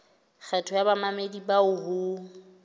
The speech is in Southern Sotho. kgetho ya bamamedi bao ho